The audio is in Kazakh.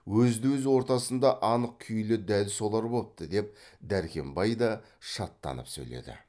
өзді өз ортасында анық күйлі дәл солар бопты деп дәркембай да шаттанып сөйледі